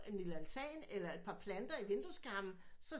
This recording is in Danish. En lille altan eller et planter i vinduskarmen så